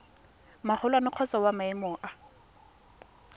magolwane kgotsa wa maemo a